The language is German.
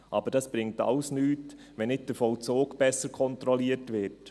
Aber das bringt alles nichts, wenn nicht der Vollzug besser kontrolliert wird.